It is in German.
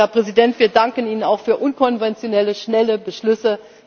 sind. Herr Präsident, wir danken Ihnen auch für unkonventionelle, schnelle Beschlüsse.